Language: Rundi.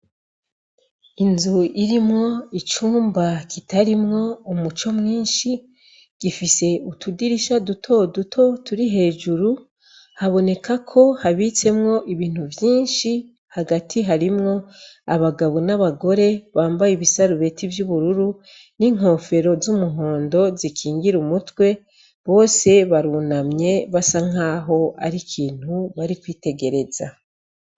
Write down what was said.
Inzu irimwo icumba kitarimwo umuco mwinshi, gifise utudirisha duto duto turi hejuru, haboneka ko habitsemwo ibintu vyinshi; hagati harimwo abagabo n'abagore bambaye ibisarubeti vy'ubururu n'inkofero z'umuhondo zikingira umutwe, bose barunamye, basa nk'aho ari ikintu bari kwitegereza.